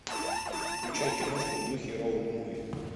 включай киношку в духе роуд муви